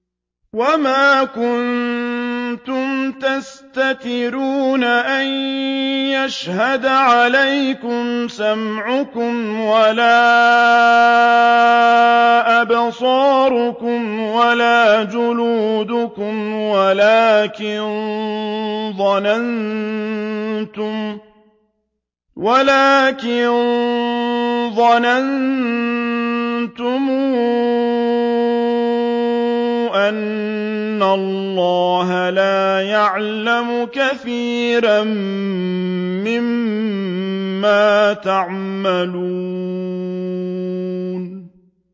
وَمَا كُنتُمْ تَسْتَتِرُونَ أَن يَشْهَدَ عَلَيْكُمْ سَمْعُكُمْ وَلَا أَبْصَارُكُمْ وَلَا جُلُودُكُمْ وَلَٰكِن ظَنَنتُمْ أَنَّ اللَّهَ لَا يَعْلَمُ كَثِيرًا مِّمَّا تَعْمَلُونَ